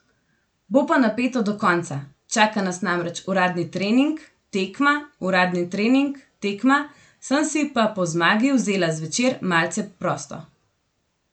Bo pa napeto do konca, čaka nas namreč uradni trening, tekma, uradni trening, tekma, sem si pa po zmagi vzela zvečer malce prosto.